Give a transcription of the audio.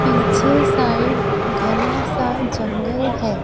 पीछे साइड घना सा जंगल है।